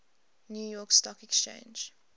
new york stock exchange